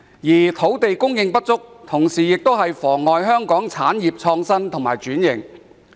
此外，土地供應不足，亦妨礙香港產業的創新及轉型。